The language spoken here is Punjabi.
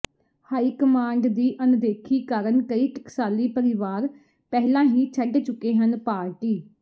ਹਾਈ ਕਮਾਂਡ ਦੀ ਅਣਦੇਖੀ ਕਾਰਨ ਕਈ ਟਕਸਾਲੀ ਪਰਿਵਾਰ ਪਹਿਲਾਂ ਹੀ ਛੱਡ ਚੁੱਕੇ ਹਨ ਪਾਰਟੀ